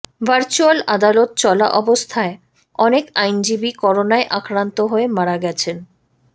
virtual আদালত চলা অবস্থায় অনেক আইনজীবী করোনায় আক্রান্ত হয়ে মারা গেছেন